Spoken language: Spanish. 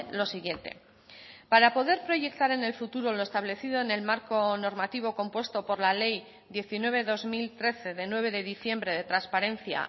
lo siguiente para poder proyectar en el futuro lo establecido en el marco normativo compuesto por la ley diecinueve barra dos mil trece de nueve de diciembre de transparencia